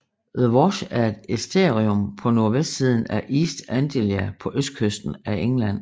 The Wash er et æstuarium på nordvestsiden af East Anglia på østkysten af England